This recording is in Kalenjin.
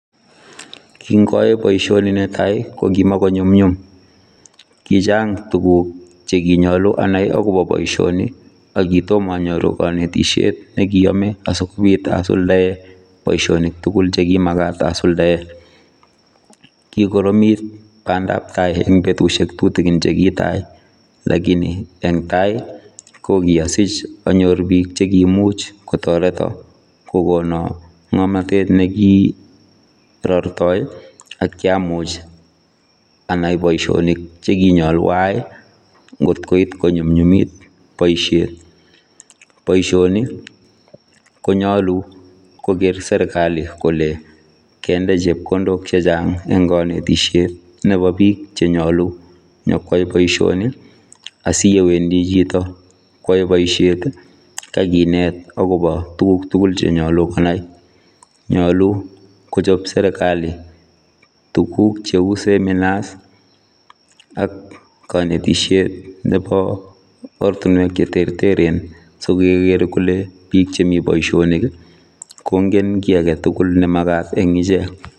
kingooe boisioni netai kokimgonyumnyum kichang tuguk chekinyalu anai akobo boisioni akitomo anyoru kanetisiet nekiiyome asikobiit asuldae boisionik tugul chekimagak asuldae kikoromit bandabtai eng betusiek tutigin chekitai lakini eng tai kokiasich anyor bik che kimuch kotoreto kogono ngomnotet ne kirortoi akiamuch anai boisionik chekinyalu aai ngotkoit konyumnyumit boisiet, boisioni konyalu kogeer serikali kole kende chepkondok chechang eng kanetisiet nebo biik chenyalu nyikoai boisioni asiye wendi chito koae boisiet kakinet akobo tuguk tugul chenyalu konai nyalu kochob serikali tuguk cheuu seminars ak kanetisiet nebo ortinwek che terteren sigeger kole biik chemii boisiet kongen ki agetugul ne magat eng ichek.